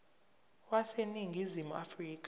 wase ningizimu afrika